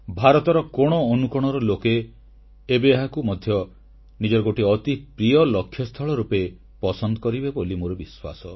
ଭାରତର କୋଣଅନୁକୋଣର ଲୋକେ ଏବେ ଏହାକୁ ମଧ୍ୟ ନିଜର ଗୋଟିଏ ଅତି ପ୍ରିୟ ଲକ୍ଷ୍ୟସ୍ଥଳ ରୂପେ ପସନ୍ଦ କରିବେ ବୋଲି ମୋର ବିଶ୍ୱାସ